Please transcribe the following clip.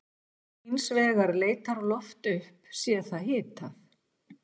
Hins vegar leitar loft upp sé það hitað.